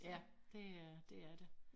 Ja det er dét er det